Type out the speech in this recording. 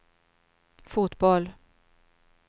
fotboll